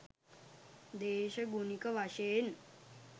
දේශගුණික වශයෙන්